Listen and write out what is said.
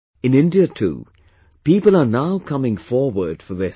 In India too, people are now coming forward for this